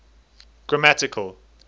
grammatical